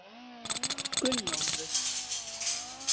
Gunnólfur